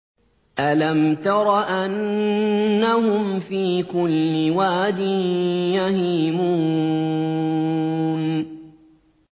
أَلَمْ تَرَ أَنَّهُمْ فِي كُلِّ وَادٍ يَهِيمُونَ